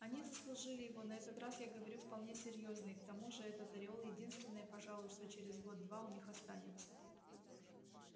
они заслужили его на этот раз я говорю вполне серьёзно и к тому же этот ореол единственное пожалуй что через год-два у них останется